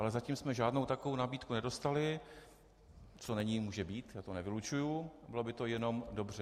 Ale zatím jsme žádnou takovou nabídku nedostali - co není, může být, já to nevylučuji, bylo by to jenom dobře.